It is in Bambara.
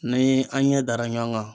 Ni an ɲɛ dara ɲɔgɔn kan.